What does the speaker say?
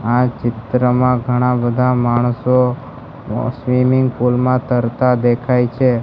આ ચિત્રમાં ઘણા બધા માણસો સ્વિમિંગ પૂલ માં તરતા દેખાય છે.